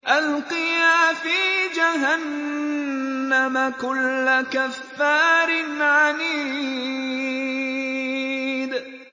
أَلْقِيَا فِي جَهَنَّمَ كُلَّ كَفَّارٍ عَنِيدٍ